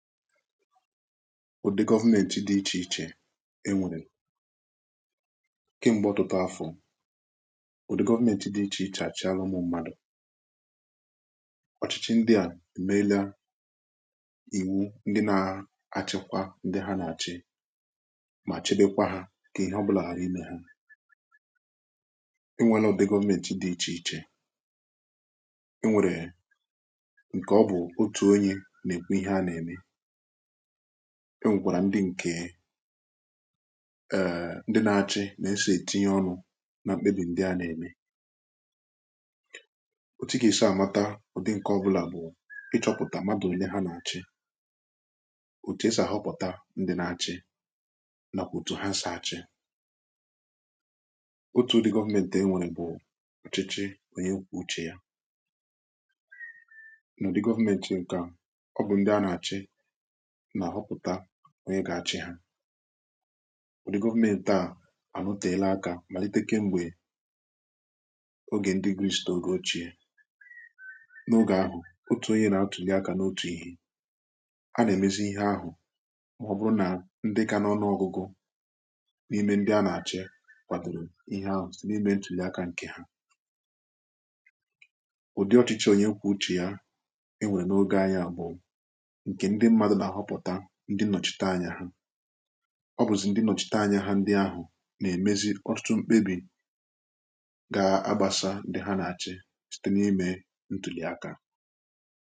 ụdị gọvmenti dị ichèichè enwèrè kem̀gbe ọtụtụ afọ òdị gọvmenti dị ichèichè achị alụmụ mmadụ̀ ọchịchị ndị à emelịa ìwu ndị na-achịkwa ndị ha na-achị mà chebekwa ha kà ihe ọbụlà ghara imė ha enwere ụdị gọvmenti dị ichèichè e nwèrè ǹkè ọ bụ̀ otù onye nà-ekwe ihe a nà-ème enwèkwàrà ndị ǹkè eee ndị nà-achị nà-esì etinye ọnụ nà m̀kpebi ndị a nà-ème otu kà isià amata ọ̀ dị ǹkè ọ̀bụlà bụ̀ ịchọ̇pụ̀tà madụ̀ onye ha nà-achị otu esì àhọpụ̀ta ndị nà-achị nàkwà otù ha sà-àchị otu government e nwèrè bụ̀ ọ̀chịchị nwee kwu̇chị ya nà ọ̀dị government ǹkà ọ bụ̀ ndị ha nà-àchị nà-àhọpụ̀ta onye gà-achị hȧ wụ̀dị gọvmenti àànụtàela akȧ màlitekem gbè ogè ndị griṁsitȧ ogè ochìe n’ogè ahụ̀ otù onye nà-atùli akȧ n’otù ihė a nà-èmezi ihe ahụ̀ màọ̀bụ̀rụ̀ nà ndị kà n’ọnụ ọgụgụ n’ime ndị a nà-àchị kwàdòrò ihe ahụ̀ n’ime ndị ọkà ǹkè ha ụ̀dị ọchịchị onye kwà uchè ya e nwèrè n’ogè anyị̇ à bụ̀ ọ bụ̀zị̀ ndị nọchità anya hȧ ndị ahụ̀ nà-èmezi ọtụtụ m̀kpebi gà-agbasa ndị ha nà-achị site n’ime ntùlì aka